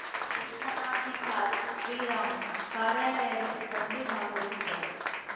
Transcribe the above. ಯೋಜನಾಧಿಕಾರಿ ಶ್ರೀರಾಮು ಕಾರ್ಯಾಲಯದ ಸಿಬ್ಬಂದಿ ಭಾಗವಹಿಸಿದ್ದರು